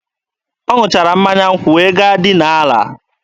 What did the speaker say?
Ọ ṅụchara mmanya nkwụ wee gaa dinaa ala.